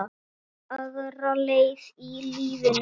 Ætlaði aðra leið í lífinu.